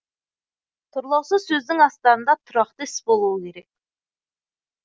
тұрлаусыз сөздің астарында тұрақты іс болуы керек